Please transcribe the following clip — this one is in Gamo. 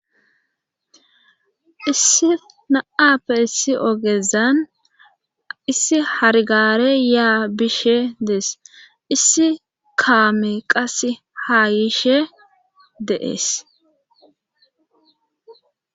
issi na7appe issi ogezan issi hargare yaa bishe dees issi kaame qas haayishe deees